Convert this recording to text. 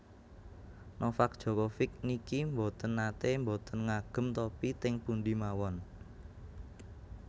Novak Djokovic niki mboten nate mboten ngagem topi teng pundi mawon